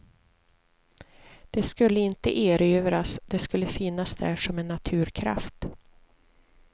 Det skulle inte erövras, det skulle finnas där som en naturkraft.